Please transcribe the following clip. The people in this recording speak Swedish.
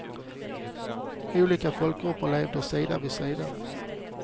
Olika folkgrupper levde sida vid sida.